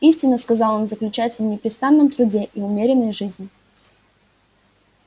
истина сказал он заключается в непрестанном труде и умеренной жизни